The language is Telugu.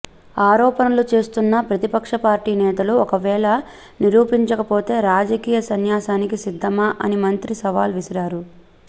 ఆరోపణలు చేస్తున్న ప్రతిపక్ష పార్టీ నేతలు ఒకవేళ నిరూపించకపోతే రాజకీయ సన్యాసానికి సిద్ధమా అని మంత్రి సవాల్ విసిరారు